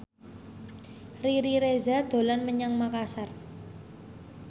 Riri Reza dolan menyang Makasar